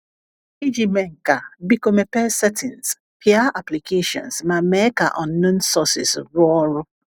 Iji mee nke a, biko mepee *Settings*, pịa *Applications* ma mee ka *Unknown Sources* rụọ ọrụ.